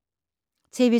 TV 2